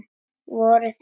Voruð þið.